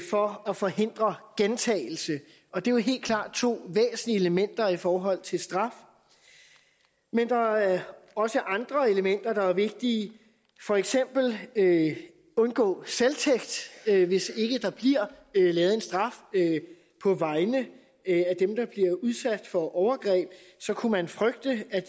for at forhindre gentagelse og det er jo helt klart to væsentlige elementer i forhold til straf men der er også andre elementer der er vigtige for eksempel at undgå selvtægt hvis ikke der bliver givet en straf på vegne af dem der er blevet udsat for overgreb så kunne man frygte at